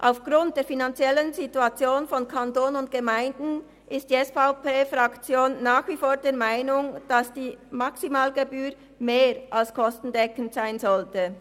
Aufgrund der finanziellen Situation von Kanton und Gemeinden ist die SVP-Fraktion nach wie vor der Meinung, dass die Maximalgebühr mehr als kostendeckend sein sollte.